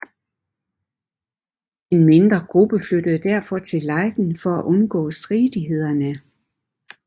En mindre gruppe flyttede derfor til Leiden for at undgå stridighederne